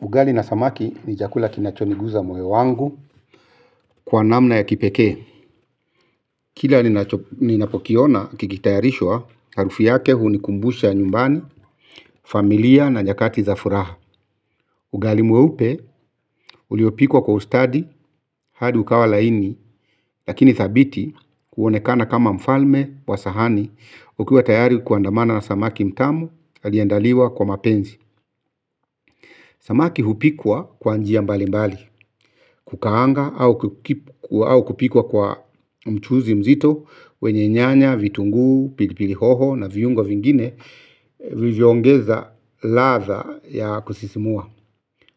Ugali na samaki ni chakula kinachoniguza moyo wangu kwa namna ya kipekee. Kila ninapokiona kikitayarishwa harufi yake hunikumbusha ya nyumbani, familia na nyakati za furaha. Ugali mweupe uliopikwa kwa ustadi hadi ukawa laini lakini thabiti kuonekana kama mfalme wa sahani ukiwa tayari kuandamana na samaki mtamu aliyendaliwa kwa mapenzi. Samaki hupikwa kwa njia mbali mbali, kukaanga au kupikwa kwa mchuzi mzito, wenye nyanya, vitungu, pilipili hoho na viungo vingine, vilivyoongeza ladha ya kusisimua.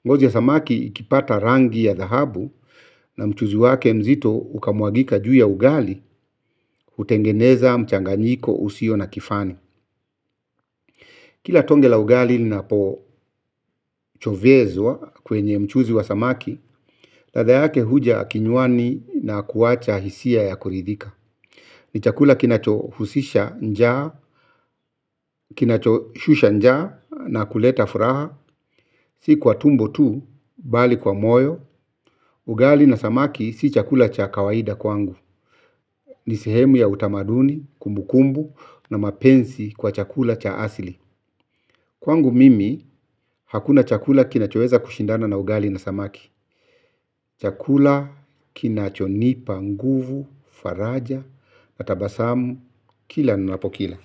Ngozi ya samaki ikipata rangi ya dahabu na mchuzi wake mzito ukamwagika juu ya ugali, utengeneza, mchanganyiko, usio na kifani. Kila tonge la ugali linapo chovyezwa kwenye mchuzi wa samaki, ladha yake huja kinywani na kuacha hisia ya kuridhika. Ni chakula kinacho husisha njaa, kinacho shusha njaa na kuleta furaha, si kwa tumbo tu, bali kwa moyo. Ugali na samaki si chakula cha kawaida kwangu. Nisehemu ya utamaduni, kumbukumbu na mapenzi kwa chakula cha asili. Kwangu mimi hakuna chakula kinachoweza kushindana na ugali na samaki. Chakula, kinachonipa, nguvu, faraja, na tabasamu, kila ninapokila.